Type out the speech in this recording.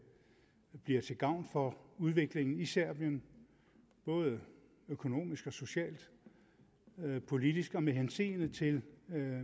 bliver til gavn for udviklingen i serbien både økonomisk og socialt politisk og med hensyn til